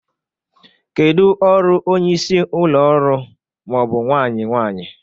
Kedu ọrụ onye isi ụlọ ọrụ/nwanyị nwanyị?